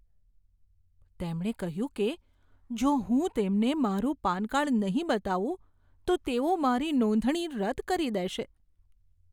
તેમણે કહ્યું કે જો હું તેમને મારું પાન કાર્ડ નહીં બતાવું તો તેઓ મારી નોંધણી રદ કરી દેશે.